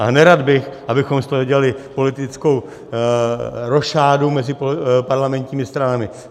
A nerad bych, abychom z toho dělali politickou rošádu mezi parlamentními stranami.